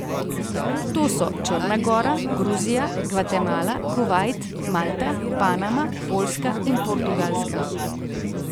To so Črna Gora, Gruzija, Gvatemala, Kuvajt, Malta, Panama, Poljska in Portugalska.